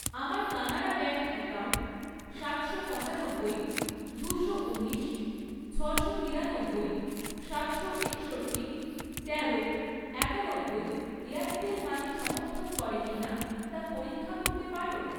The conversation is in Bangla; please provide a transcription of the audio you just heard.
আমার কানাড়া ব্যাঙ্ক অ্যাকাউন্ট সাতশো পঁচানব্বই, দুশো ঊনিশ, ছশো তিরানব্বই, সাতশো একষট্টি, তেরো, একানব্বই এয়ারটেল মানি সমর্থন করে কিনা তা পরীক্ষা করতে পারো?